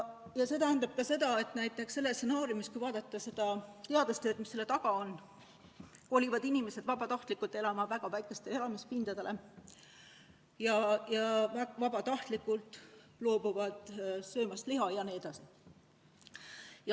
Ja see tähendab seda, et selle stsenaariumi kohaselt – arvestagem ka seda teadustööd, mis selle taga on – kolivad inimesed vabatahtlikult elama väga väikestele elamispindadele, vabatahtlikult loobuvad söömast liha jne.